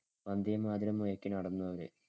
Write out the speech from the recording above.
വന്ദേമാതരം മുഴക്കി നടന്നു അവര്.